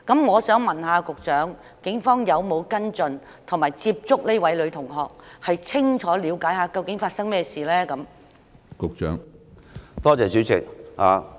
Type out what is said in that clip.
我想問局長，警方有否跟進及接觸這位女同學，以便清楚了解發生甚麼事情？